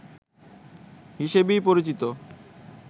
হিসেবেই পরিচিত